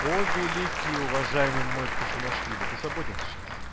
о великий уважаемый мой кушанашвили ты свободен сейчас